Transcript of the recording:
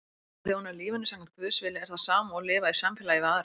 Að þjóna lífinu samkvæmt Guðs vilja er það sama og lifa í samfélagi við aðra.